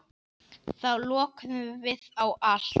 Þá lokuðum við á allt.